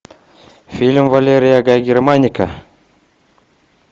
фильм валерия гай германика